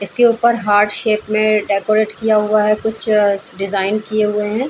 इसके ऊपर heart shape में डेकोरेट किया हुआ है कुछ अ डिज़ाइन किये हुए हैं ।